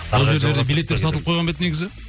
ол жерлерде билеттер сатылып қойған ба еді негізі